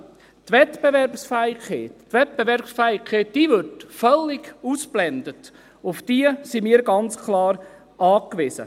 Die Wettbewerbsfähigkeit wird völlig ausgeblendet, auf diese sind wir jedoch ganz klar angewiesen.